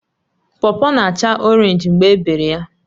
Pọpọ na-acha Orénj mgbe ebere ya